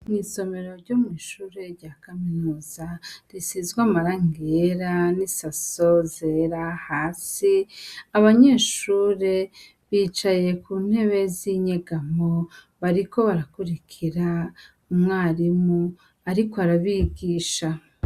Isomero ryo mwishure rya kaminuza risizwe amarangi yera n' isaso zera hasi abanyeshure bicaye ku ntebe z' inyegamo bariko barakurikira umwarimu ariko arabigisha.